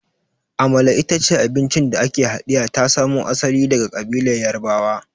Amala ita ce abinci da ake haɗiya ta samo asali daga ƙabilar Yarbawa.